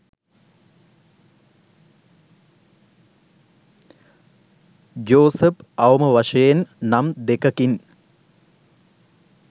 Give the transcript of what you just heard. Joseph අවම වශයෙන් නම් දෙකකින්